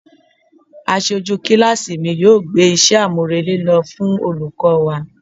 Aṣojú kíláàsì mi yóò gbé iṣẹ́ àmúrelé lọ fún olùkọ́ wa.